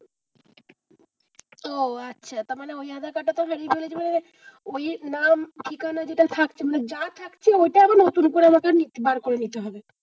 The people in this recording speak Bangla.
ও আচ্ছা তারমানে ওই আধার কার্ডটা তো হারিয়ে ফেলেছি বলে ওই নাম ঠিকানা যেটা থাকছে মানে যা থাকছে ঐটা আমাকে নতুন করে বার করে নিতে হবে?